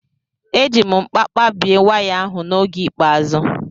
Eji m nkpa kpabie waya ahụ n'oge ikpeazụ.